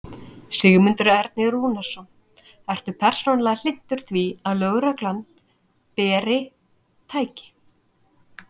Sigmundur Ernir Rúnarsson: Ertu persónulega hlynntur því að lögreglan beri. tæki?